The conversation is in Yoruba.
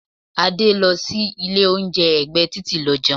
Adé lọ sí ilé oúnjẹ ẹgbẹ́ titi lọ jẹun.